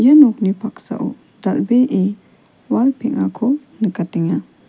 nokni paksao dal·bee wal peng·ako nikatenga.